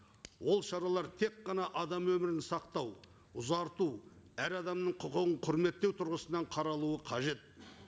ол шаруалар тек қана адам өмірін сақтау ұзарту әр адамның құқығын құрметтеу тұрғысынан қаралуы қажет